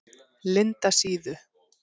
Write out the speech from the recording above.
Lindasíðu